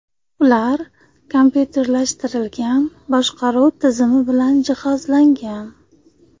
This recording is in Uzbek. Ular kompyuterlashtirilgan boshqaruv tizimi bilan jihozlangan.